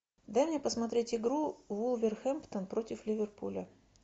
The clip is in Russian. дай мне посмотреть игру вулверхэмптон против ливерпуля